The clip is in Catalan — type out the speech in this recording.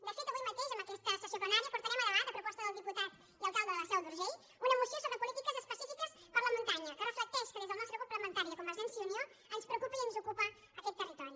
de fet avui mateix en aquesta sessió plenària portarem a debat a proposta del diputat i alcalde de la seu d’urgell una moció sobre polítiques específiques per a la muntanya que reflecteix que des del nostre grup parlamentari de convergència i unió ens preocupa i ens ocupa aquest territori